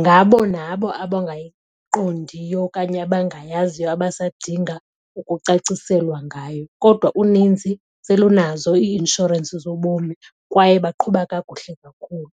Ngabo nabo abangayiqondiyo okanye abangayaziyo abasadinga ukucaciselwa ngayo. Kodwa uninzi selunazo ii-inshorensi zobomi kwaye baqhuba kakuhle kakhulu.